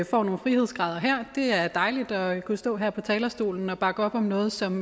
får nogle frihedsgrader her det er dejligt at kunne stå her på talerstolen og bakke op om noget som